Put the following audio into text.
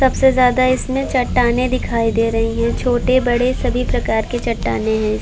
सबसे ज्यादा इसमें चट्टानें दिखाई दे रही है। छोटे बड़े सभी प्रकार की चट्टानें हैं।